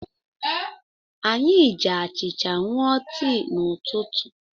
Anyị ji achịcha ṅụọ tii n'ụtụtụ.